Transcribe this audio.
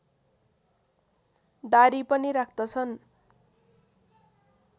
दाह्री पनि राख्दछन्